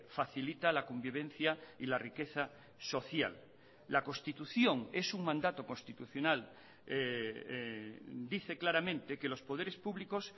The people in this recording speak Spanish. facilita la convivencia y la riqueza social la constitución es un mandato constitucional dice claramente que los poderes públicos